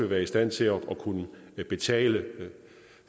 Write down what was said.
være i stand til at kunne betale